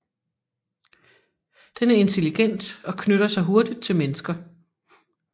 Den er intelligent og knytter sig hurtigt til mennesker